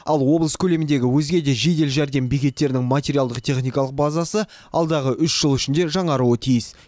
ал облыс көлеміндегі өзге де жедел жәрдем бекеттерінің материалдық техникалық базасы алдағы үш жыл ішінде жаңаруы тиіс